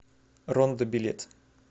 рондо билет